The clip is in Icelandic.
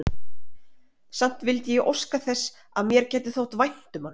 Samt vildi ég óska þess, að mér gæti þótt vænt um hann.